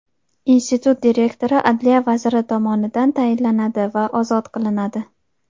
Institut direktori adliya vaziri tomonidan tayinlanadi va ozod qilinadi.